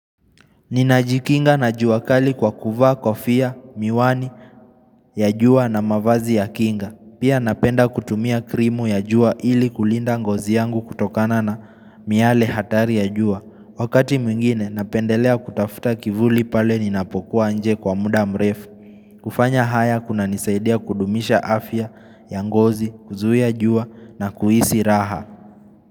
Ninajikinga na jua kali kwa kuvaa kofia, miwani ya jua na mavazi ya kinga Pia napenda kutumia krimu ya jua ili kulinda ngozi yangu kutokana na miale hatari ya jua Wakati mwingine napendelea kutafuta kivuli pale ninapokuwa nje kwa muda mrefu kufanya haya kunanisaidia kudumisha afya ya ngozi kuzuia jua na kuhisi raha.